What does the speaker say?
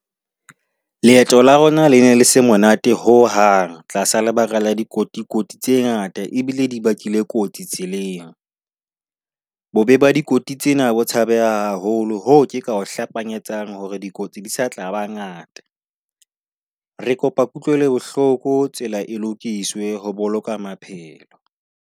Leeto la rona le ne se monate ho hang tlasa lebaka la dikotikoti tse ngata ebile di bakile kotsi tseleng. Bobe ba dikoti tsena bo tshabeha haholo, hoo nka o hlapanyetsang hore dikotsi di sa tla ba ngata. Re kopa kutlwelobohloko tsela e lokiswe ho boloka maphelo.